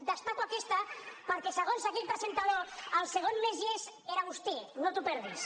destaco aquesta perquè segons aquell presentador el segon més llest era vostè no t’ho perdis